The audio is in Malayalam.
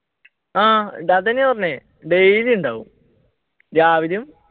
ആഹ് അത് തന്നെ പറഞ്ഞത് daily ഉണ്ടാവും രാവിലേം